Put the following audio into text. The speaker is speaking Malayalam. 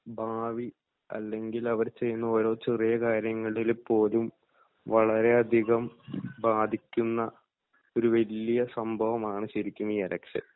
ഭാവി അല്ലെങ്കിൽ അവർ ചെയ്യുന്ന ഓരോ ചെറിയ കാര്യങ്ങളിൽ പോലും വളരെയധികം ബാധിക്കുന്ന ഒരു വല്ല്യ സംഭവമാണ് ശരിക്കും ഈ ഇലക്ഷൻ